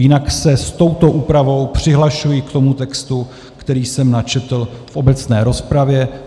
Jinak se s touto úpravou přihlašuji k tomu textu, který jsem načetl v obecné rozpravě.